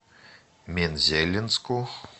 мензелинску